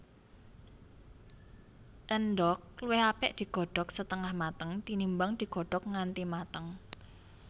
Endhog luwih apik digodhog setengah mateng tinimbang digodhog nganti mateng